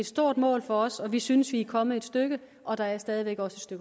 stort mål for os og vi synes at vi er kommet et stykke og der er stadig væk også